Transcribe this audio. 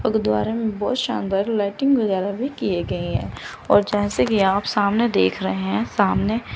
अ गुरुद्वारा में बहोत शानदार लाइटिंग वगैरा भी किए गए हैं और जैसे कि आप सामने देख रहे हैं सामने--